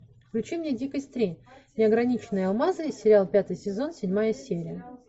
включи мне дикость три неограниченные алмазы сериал пятый сезон седьмая серия